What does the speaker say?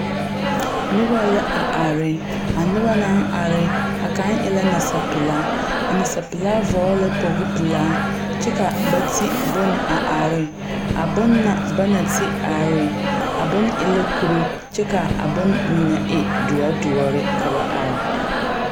Nuba la arẽ a nuba nang arẽ kanga e la naasaalpilaa a naasaalpilaa vɔgli la kpɔgle pelaa kye ka ba te bon a arẽ a bon na ba nang te a arẽ ne a bon e la kuri kye ka a bun mene e duo duo ka ba arẽ ne.